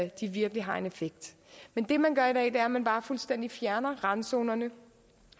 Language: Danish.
de virkelig har en effekt men det man gør i dag er at man bare fuldstændig fjerner randzonerne